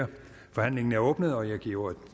forhandlingen er åbnet og jeg giver ordet